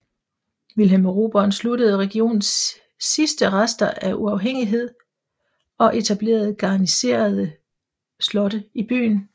Wilhelm Erobreren sluttede regionens sidste rester af uafhængighed og etablerede garniserede slotte i byen